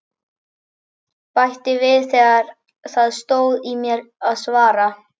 Bætti við þegar það stóð í mér að svara.